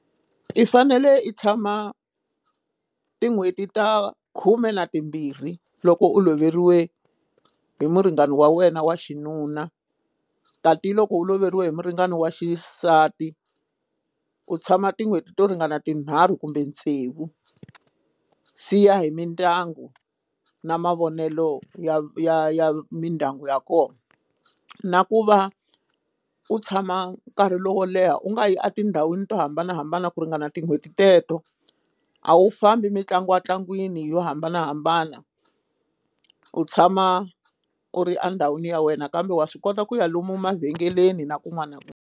I fanele i tshama tin'hweti ta khume na timbirhi loko u loveriwe hi muringani wa wena wa xinuna tati loko u loveriwe hi muringani wa xisati u tshama tin'hweti to ringana tinharhu kumbe tsevu swi ya hi mindyangu na mavonelo ya ya ya mindyangu ya kona na ku va u tshama nkarhi lowo leha u nga yi etindhawini to hambanahambana ku ringana tin'hweti teto a wu fambi mitlangu ntlangwini yo hambanahambana u tshama u ri andhawini ya wena kambe wa swi kota ku ya lomu mavhengeleni na kun'wana na .